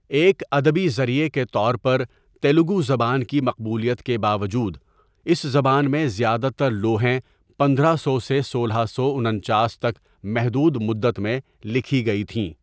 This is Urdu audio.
ایک ادبی ذریعے کے طور پر تیلگو زبان کی مقبولیت کے باوجود اس زبان میں زیادہ تر لوحیں پندرہ سو سے سولہ سو انچاس تک محدود مدت میں لکھی گئی تھیں۔